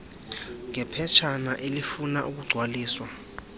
ngephetshana elifuna ukugcwaliswa